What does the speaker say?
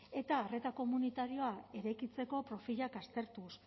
eta arreta komunitarioa eraikitzeko profilak aztertuz